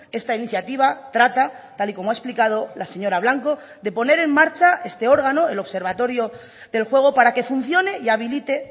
esta iniciativa trata tal y como ha explicado la señora blanco de poner en marcha este órgano el observatorio del juego para que funcione y habilite